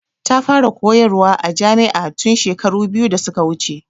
Ta fara koyar wa a jami'a tun shekaru biyu da suka wuce.